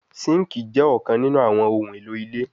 Sinkii jẹ ọkan ninu awọn ohun elo ile